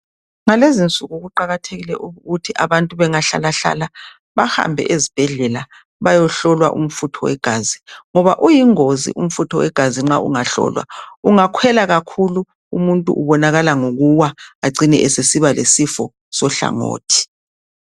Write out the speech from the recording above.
Ngalezinsuku kuqakathekile ukuthi abantu bengahlalahlala bahambe ezibhedlela bayehlolwa iumfutho wegazi. Ngoba uyingozi umfutho wegazi nxa ungahlolwa. Ungakhwela kakhulu, umuntu ubonakala ngokuwa. Acine esesiba lesifo sohlangothi.